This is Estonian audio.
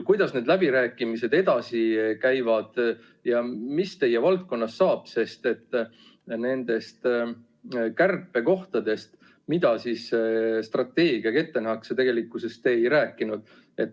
Kuidas need läbirääkimised edasi käivad ja mis teie valdkonnast saab, sest nendest kärpekohtadest, mida strateegiaga ette nähakse, tegelikkuses te ei rääkinud?